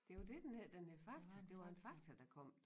Det var dét den hed den hed Fakta det var en Fakta der kom